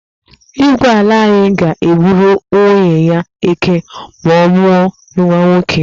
Igwe ala anyị ga-egburu nwunye ya eké ma ọ mụọ nwa nwoke.